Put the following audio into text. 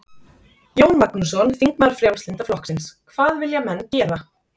Jón Magnússon, þingmaður Frjálslynda flokksins: Hvað vilja menn gera?